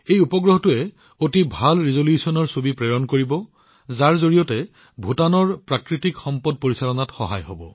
এই উপগ্ৰহটোৱে অতি ভাল ৰিজলিউশ্বনৰ ছবি প্ৰেৰণ কৰিব যি ভূটানক ইয়াৰ প্ৰাকৃতিক সম্পদৰ ব্যৱস্থাপনাত সহায় কৰিব